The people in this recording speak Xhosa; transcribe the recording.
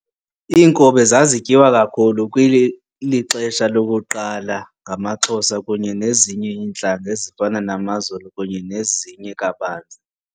Inkobe zazityiwa kakhulu kwilixesha lakuqala ngamaxhosa kunye nezinye intlanga ezifana namazulu kunye nezinye kabanzi.